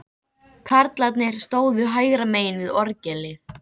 Karlarnir stóðu hægra megin við orgelið.